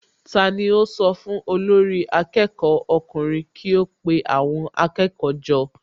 Tani ó sọ fún olórí akẹ́kọ̀ọ́ ọkùnrin kí ó pe àwọn akẹ́kọ̀ọ́ jọ?